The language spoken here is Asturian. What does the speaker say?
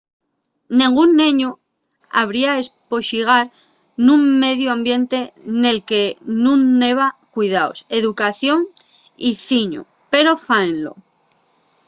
nengún neñu habría espoxigar nun mediu ambiente nel que nun heba cuidaos educación y ciñu pero fáenlo